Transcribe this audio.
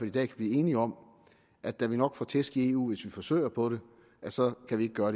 i dag kan blive enige om at da vi nok får tæsk i eu hvis vi forsøger på det så kan vi ikke gøre